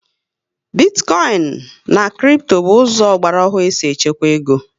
Bitikoinu and kripto bụ ụzọ ọgbara ohu esi echekwa égo